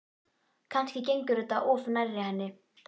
Kannski gengur þetta of nærri henni.